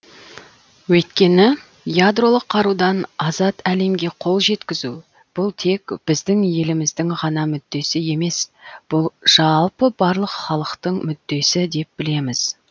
өйткені ядролық қарудан азат әлемге қол жеткізу бұл тек біздің еліміздің ғана мүддесі емес бұл жалпы барлық халықтың мүддесі деп білеміз